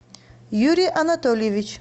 юрий анатольевич